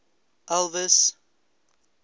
elvis